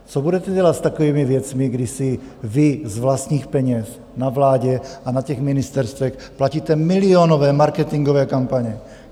Co budete dělat s takovými věcmi, kdy si vy z vlastních peněz na vládě a na těch ministerstvech platíte milionové marketingové kampaně?